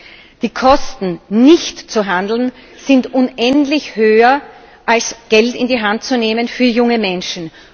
Die Kosten, nicht zu handeln, sind unendlich höher, als Geld in die Hand zu nehmen für junge Menschen.